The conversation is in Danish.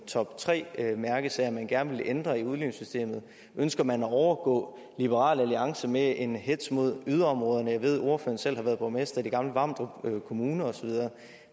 toptre mærkesager man gerne vil ændre i udligningssystemet ønsker man at overgå liberal alliance med en hetz mod yderområderne jeg ved at ordføreren selv har været borgmester i den gamle vamdrup kommune